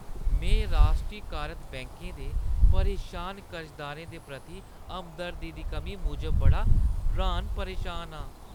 में राश्ट्रीकारत बैंकै दे परेशान कर्जदारें दे प्रति हमदर्दी दी कमी मूजब बड़ा र्‌हान-परेशान आं।